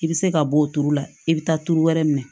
I bɛ se ka bɔ o turu la i bɛ taa tuuru wɛrɛ minɛ